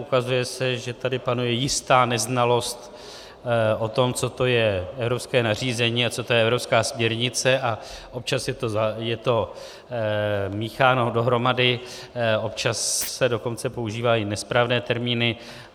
Ukazuje se, že tady panuje jistá neznalost o tom, co to je evropské nařízení a co to je evropská směrnice, a občas je to mícháno dohromady, občas se dokonce používají nesprávné termíny.